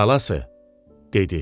Balası, dedi.